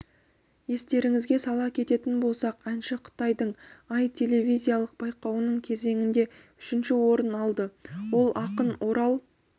естеріңізге сала кететін болсақ әнші қытайдың аі телевизиялық байқауының кезеңінде үшінші орын алды ол ақын орал